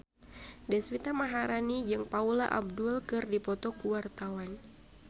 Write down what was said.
Deswita Maharani jeung Paula Abdul keur dipoto ku wartawan